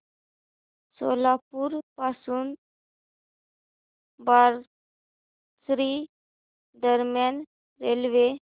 सोलापूर पासून बार्शी दरम्यान रेल्वे